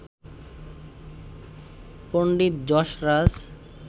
Pandit Jasraj